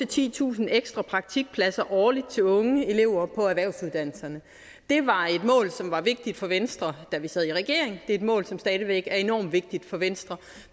titusind ekstra praktikpladser årligt til unge elever på erhvervsuddannelserne det var et mål som var vigtigt for venstre da vi sad i regering og et mål som stadig væk er enormt vigtigt for venstre